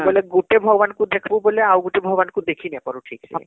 ବୋଲେ ଗୁଟେ ଭଗବାନ ଙ୍କୁ ଦେଖଃବୁ ବୋଲେ ଆଉ ଗୋଟେ ଭଗବାନ ଙ୍କୁ ଦେଖି ନାଇଁ ପାରୁ ଠିକ ସେ